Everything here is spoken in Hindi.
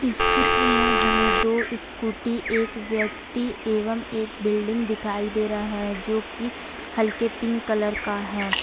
इस चित्र में हमें दो स्कूटी एक व्यक्ति एवम एक बिल्डिंग दिखाई दे रहा है जो की हल्के पिंक कलर का है।